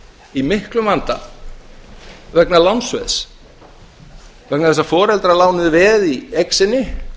í miklum vanda vegna lánsveðs vegna þess að foreldrar lánuðu veð í eign sinni